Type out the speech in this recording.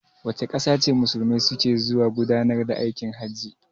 Wace ƙasa ce Musulmai su ke zuwa gudanar da aikin hajji?